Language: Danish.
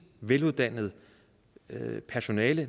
veluddannet personale